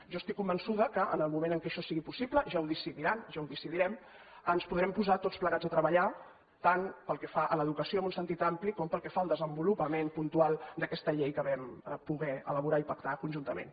jo estic convençuda que en el moment que això sigui possible ja ho decidiran ja ho decidirem ens podrem posar tots plegats a treballar tant pel que fa a l’educació en un sentit ampli com pel que fa al desenvolupament puntual d’aquesta llei que vam poder elaborar i pactar conjuntament